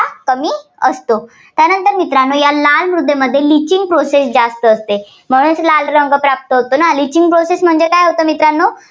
कमी असतो. त्यानंतर मित्रांनो या लाल मृदेमध्ये litching process जास्त असते. म्हणूनच लाल रंग प्राप्त होतो ना. litching process म्हणजे काय होतं मित्रांनो